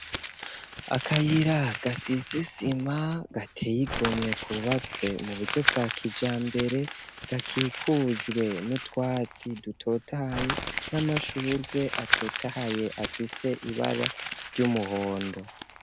Akayira gasize isima gateyigomwe kubatse mu buryo bwa kijambere gakikujwe n'utwatsi dutotaye n'amashurwe atotaye afise ibara ry'umuhondo.